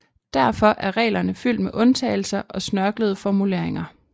Derfor er reglerne fyldt med undtagelser og snørklede formuleringer